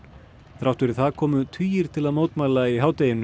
þrátt fyrir það komu tugir til að mótmæla í hádeginu